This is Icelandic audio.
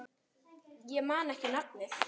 Ég man ekki nafnið.